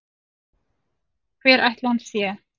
Hver ætli hann sé?